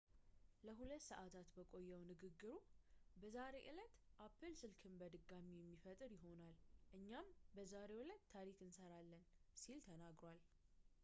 ለ2 ሰዐታት በቆየው ንግግሩ በዛሬው ዕለት apple ስልክን በድጋሚ የሚፈጥር ይሆናል እኛም በዛሬው ዕለት ታሪክ እንሰራለን ሲል ተናግሯል